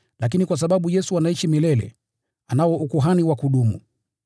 Lakini kwa sababu Yesu anaishi milele, anao ukuhani wa kudumu.